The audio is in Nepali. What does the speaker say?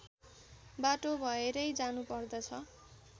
बाटो भएरै जानु पर्दछ